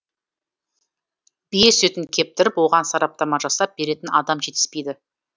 бие сүтін кептіріп оған сараптама жасап беретін адам жетіспейді